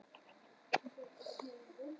Já, er ekki ruslakompa heima hjá ykkur.